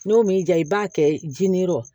N'o m'i diya i b'a kɛ ji nin yɔrɔ